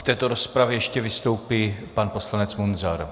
V této rozpravě ještě vystoupí pan poslanec Munzar.